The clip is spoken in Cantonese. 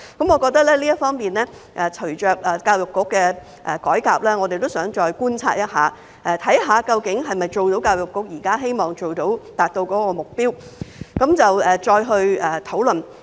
我認為，在這方面，隨着教育局的改革，我們也想再觀察，看看究竟能否達到教育局現在希望達到的目標，然後再作討論。